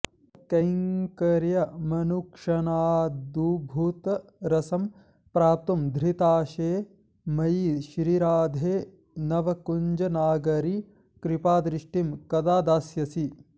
तत्कैङ्कर्यमनुक्षणाद्भुतरसं प्राप्तुं धृताशे मयि श्रीराधे नवकुञ्जनागरि कृपादृष्टिं कदा दास्यसि